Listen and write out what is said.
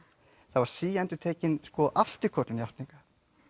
það var síendurtekin afturköllun játninga